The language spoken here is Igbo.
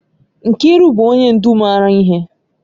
Nkiru bu onye ndu mara ihe.